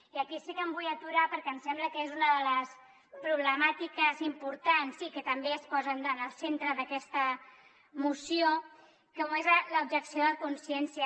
i aquí sí que em vull aturar perquè em sembla que és una de les problemàti·ques importants i que també es posen en el centre d’aquesta moció com és l’objec·ció de consciència